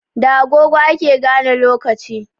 Da agogo ake gane lokaci